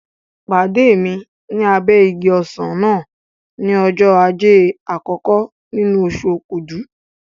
Pàdé mi ní abẹ́ igi ọsàn náà ní ọjọ́ Ajé àkọ́kọ́ nínú oṣù Okúdù.